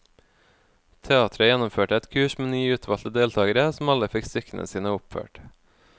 Teatret gjennomførte et kurs med ni utvalgte deltagere, som alle fikk stykkene sine oppført.